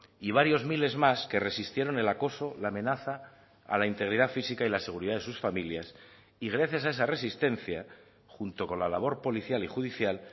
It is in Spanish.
y varios miles más que resistieron el acoso la amenaza a la integridad física y la seguridad de sus familias y gracias a esa resistencia junto con la labor policial y judicial